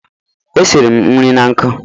Esiri m nri na nkụ.